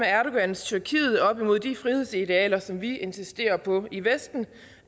erdogans tyrkiet op imod de frihedsidealer som vi insisterer på i vesten